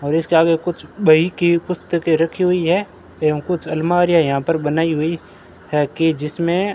और इसके आगे कुछ बही की पुस्तकें रखी हुई है एवं कुछ अलमारियां यहां पर बनाई हुई है कि जिसमें --